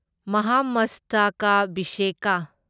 ꯃꯍꯥꯃꯁꯇꯀꯥꯚꯤꯁꯦꯀꯥ